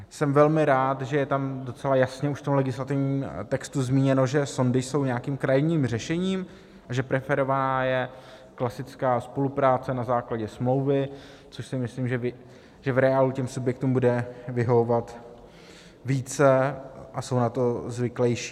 Jsem velmi rád, že je tam docela jasně už v tom legislativním textu zmíněno, že sondy jsou nějakým krajním řešením a že preferovaná je klasická spolupráce na základě smlouvy, což si myslím, že v reálu těm subjektům bude vyhovovat více, a jsou na to zvyklejší.